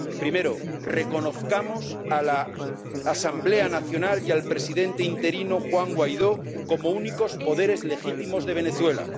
Primero reconozcamos a la Asamblea Nacional y al presidente interino Juan Guaidó como únicos poderes legítimos de Venezuela.